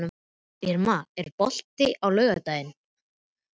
Irma, er bolti á laugardaginn?